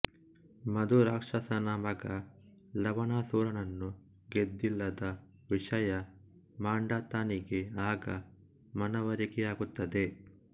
ಮಧುರಾಕ್ಷಸನ ಮಗ ಲವಣಾಸುರನನ್ನು ಗೆದ್ದಿಲ್ಲದ ವಿಷಯ ಮಾಂಧಾತನಿಗೆ ಆಗ ಮನವರಿಕೆಯಾಗುತ್ತದೆ